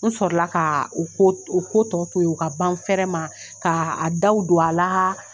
N sɔrɔ la ka u ko u ko tɔ to ye u ka ban fɛrɛ ma ka a daw don a la.